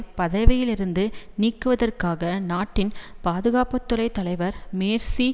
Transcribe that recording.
பதவியிலிருந்து நீக்குவதற்காக நாட்டின் பாதுகாப்பு துறை தலைவர் மேர்சி